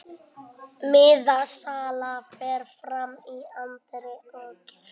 Miðasala fer fram í anddyri kirkjunnar